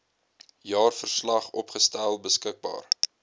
jaarverslag opgestel beskikbaar